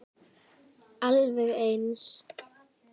Alveg eins!